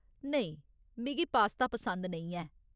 नेईं, मिगी पास्ता पसंद नेईं ऐ।